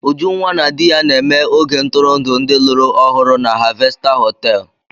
Ujunwa na di ya na-eme oge ntụrụndụ ndị lụrụ ọhụrụ na Harvester họtelu.